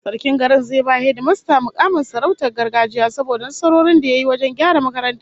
Sarkin garin zai ba hedimasta mukamin sarautar gargajiya saboda nasarorin da ya yi wajen gyara makarantar